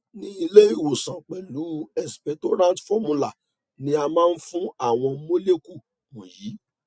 ni ile iwosanpelu expectorant formula ni a ma fun awon molecule wonyi